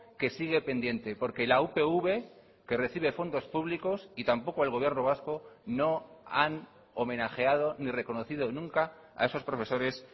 que sigue pendiente porque la upv que recibe fondos públicos y tampoco el gobierno vasco no han homenajeado ni reconocido nunca a esos profesores